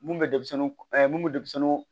Mun bɛ denmisɛnnin mun bɛ denmisɛnnin